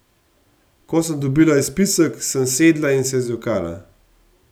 Ko sem dobila izpisek, sem sedla in se zjokala.